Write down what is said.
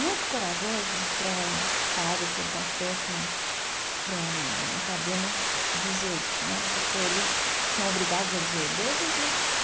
Muito corajoso para um padre, para um pastor, para um para um rabino dizer isso né, porque eles são obrigados a dizer Deus existe.